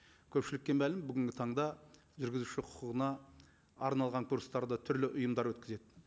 көпшілікке мәлім бүгінгі таңда жүргізуші құқығына арналған курстарды түрлі ұйымдар өткізеді